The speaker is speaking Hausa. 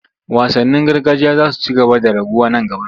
Wasannin gargajiya za su ci gaba da raguwa nan gaba.